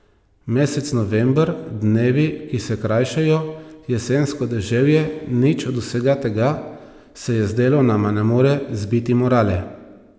Mesec november, dnevi, ki se krajšajo, jesensko deževje, nič od vsega tega, se je zdelo, nama ne more zbiti morale.